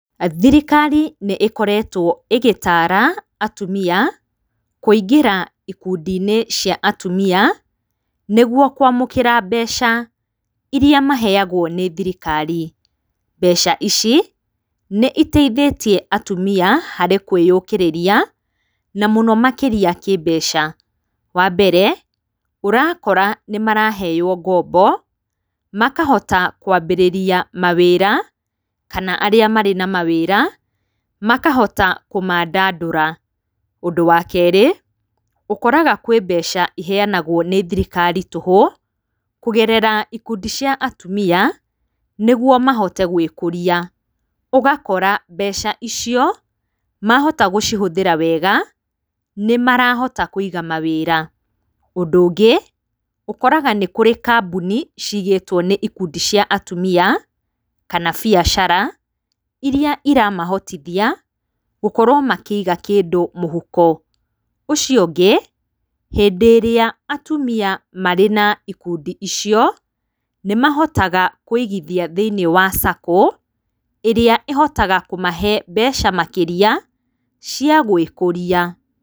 Thirikari nĩ ĩkoretwo ĩgĩtara atumia kũingĩra ikundi-inĩ cia atumia nĩguo kũamũkira mbeca irĩa maheagwo nĩ thirikari. Mbeca ici nĩ iteithĩtie atumia harĩ kwĩyũkĩrĩria na mũno makĩria kĩ mbeca. Wa mbere, ũrakora nĩ maraheo ngombo makahota kwambĩrĩria mawĩra kana arĩa marĩ na mawĩra makahota kũmaandandũra. Ũndũ wa kerĩ, ũkoraga kwĩ mbeca iheanagwo nĩ thirikari tũhũ kũgerera ikundi cia atumia nĩguo mahote gwĩkũria. Ũgakora mbeca icio mahota gũcihũthĩra wega nĩ marahota kũiga mawĩra. Ũndũ ũngĩ ũkoraga nĩ kũrĩ kambuni ciigĩtwo nĩ ikundi cia atumia kana biacara iria iramahotithia gũkorwo makĩiga kĩndũ mũhuko. Ũcio ũngĩ, hĩndĩ ĩrĩa atumia marĩ na ikundi icio, nĩ mahotaga kũigithia thĩinĩ wa Sacco ĩrĩa ĩhotaga kũmahe mbeca makĩria cia gwĩkũria.